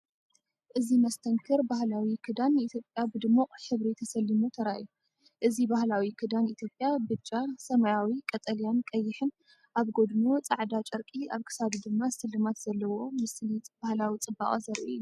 እዚ መስተንክር ባህላዊ ክዳን ኢትዮጵያ ብድሙቕ ሕብሪ ተሰሊሙ ተራእዩ። እዚ ባህላዊ ክዳን ኢትዮጵያ ብጫ፣ ሰማያዊ፣ ቀጠልያን ቀይሕን፣ ኣብ ጎድኑ ጻዕዳ ጨርቂ፣ ኣብ ክሳዱ ድማ ስልማት ዘለዎ፤ ምስሊ ባህላዊ ጽባቐ ዘርኢ እዩ።